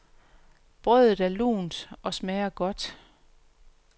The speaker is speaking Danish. Brødet er lunt og smager godt.